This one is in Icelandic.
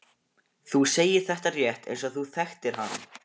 Þú segir þetta rétt eins og þú þekktir hann.